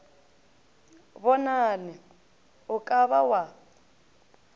bonane o ka ba wa